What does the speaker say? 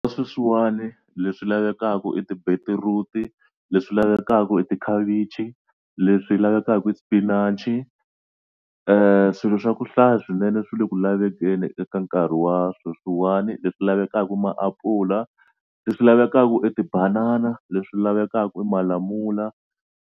Sweswiwani le swi lavekaka i ti-beetroot, le swi lavekaka i tikhavichi, le swi lavekaka i spinach swilo swa ku swa hlaya swinene swi le ku lavekeni eka nkarhi wa sweswiwani leswi lavekaka i maapula, le swi lavekaka i tibanana, leswi lavekaka malamula.